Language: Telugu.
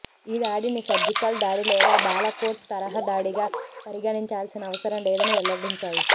ఈ దాడిని సర్జికల్ దాడి లేదా బాలాకోట్ తరహా దాడిగా పరిగణించాల్సిన అవసరం లేదని వెల్లడించాయి